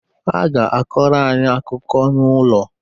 Ha ga-akọrọ anyị akụkọ n’ụlọ